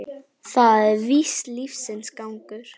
Það er víst lífsins gangur.